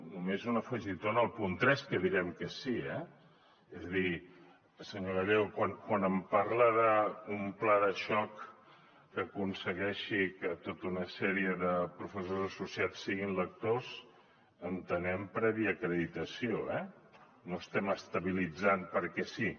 només un afegitó en el punt tres que direm que sí eh és a dir senyor gallego quan em parla d’un pla de xoc que aconsegueixi que tota una sèrie de professors associats siguin lectors entenem prèvia acreditació eh no estem estabilitzant perquè sí